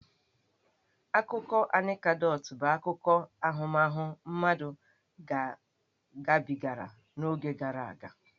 Akụkọ Anekdot bụ akụkọ ahụmahụ mmadụ gabigara n'oge gara aga.